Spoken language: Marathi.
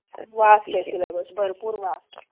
vast सीलेबस बरपू vast